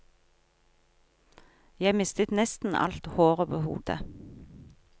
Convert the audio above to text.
Jeg mistet nesten alt håret på hodet.